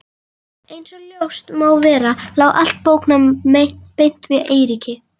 Einsog ljóst má vera lá allt bóknám beint við Eiríki.